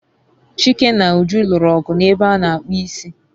Chike na Uju lụrụ ọgụ n'ebe a n'akpụ isi